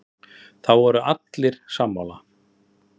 Það voru allir sammála.